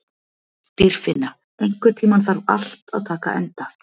Dýrfinna, einhvern tímann þarf allt að taka enda.